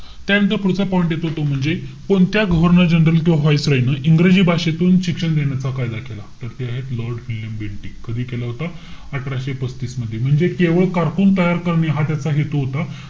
त्यानंतर पुढचा point येतो तो म्हणजे कोणत्या governor general किंवा Viceroy न, इंग्रजी भाषेतून शिक्षण घेण्याचा कायदा केला? तर ते आहेत, lord विल्यम बेंटिंक कधी केला होता? अठराशे पस्तीस मध्ये. म्हणजे केवळ कारकून तयार करणे हा त्याचा हेतू होता.